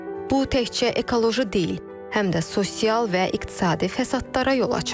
Bu təkcə ekoloji deyil, həm də sosial və iqtisadi fəsadlara yol açar.